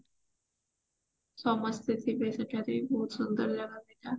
ସମସ୍ତେ ଥିବେ ସେଠାରେ ସୁନ୍ଦର ଜାଗା ସେଇଟା